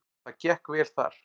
Það gekk vel þar.